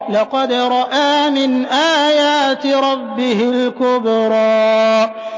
لَقَدْ رَأَىٰ مِنْ آيَاتِ رَبِّهِ الْكُبْرَىٰ